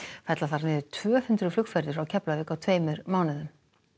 fella þarf niður tvö hundruð flugferðir frá Keflavík á tveimur mánuðum